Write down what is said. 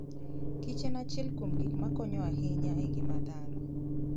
kichen achiel kuom gik ma konyo ahinya e ngima dhano.